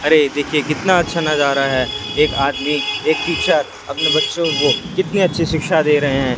अरे देखिए कितना अच्छा नजारा है एक आदमी एक टीचर अपने बच्चों को कितनी अच्छी शिक्षा दे रहे हैं।